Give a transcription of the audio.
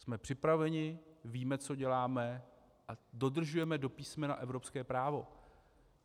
Jsme připraveni, víme, co děláme, a dodržujeme do písmena evropské právo.